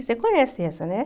Você conhece essa, né?